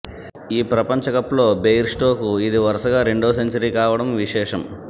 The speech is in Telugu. ఈ ప్రపంచకప్లో బెయిర్ స్టోకు ఇది వరుసగా రెండో సెంచరీ కావడం విశేషం